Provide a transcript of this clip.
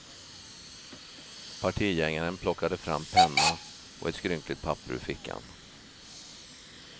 Partigängaren plockade fram penna och ett skrynkligt papper ur fickan.